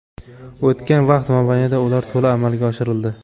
O‘tgan vaqt mobaynida ular to‘la amalga oshirildi.